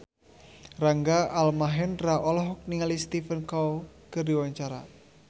Rangga Almahendra olohok ningali Stephen Chow keur diwawancara